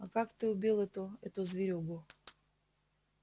а как ты убил эту эту зверюгу